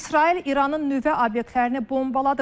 İsrail İranın nüvə obyektlərini bombaladı.